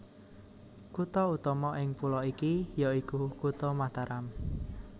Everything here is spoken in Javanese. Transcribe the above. Kutha utama ing pulo iki ya iku Kutha Mataram